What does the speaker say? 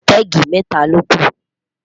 pegi meta loku